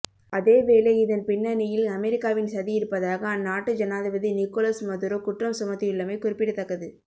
அதேவேளை இதன் பின்னணியில் அமெரிக்காவின் சதி இருப்பதாக அந்நாட்டு ஜனாதிபதி நிகோலஸ் மதுரோ குற்றம் சுமத்தியுள்ளமை குறிப்பிடத்தக்கது